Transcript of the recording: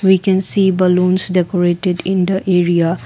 we can see balloons decorated in the area.